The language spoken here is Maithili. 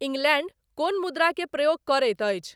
इंग्लैंड कोन मुद्रा के प्रयोग करैत अछि